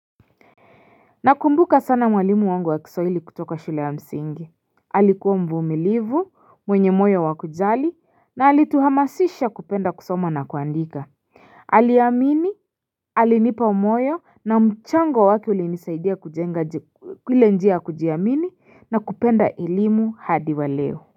Nakumbuka sana mwalimu wangu wa kisawili kutoka shule ya msingi Alikuwa mvumilivu mwenye moyo wa kujali na alituhamasisha kupenda kusoma na kuandika Aliamini alinipa moyo na mchango wake ulinisaidia kujenga ile njia ya kujiamini na kupenda elimu hadi wa leo.